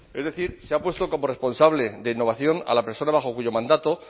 es decir se ha puesto como responsable de innovación a la persona bajo cuyo mandato